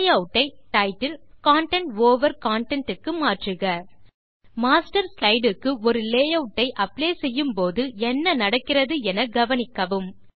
layout ஐ title content over content க்கு மாற்றுக மாஸ்டர் ஸ்லைடு க்கு ஒரு லேயூட் ஐ அப்ளை செய்யும்போது என்ன நடக்கிறது என கவனிக்கவும்